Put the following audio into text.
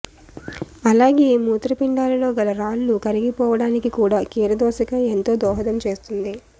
అలాగే మూత్రపిండాలలో గల రాళ్ళు కరిగిపోవడానికి కూడా కీరదోసకాయ ఎంతో దోహదం చేస్తుంది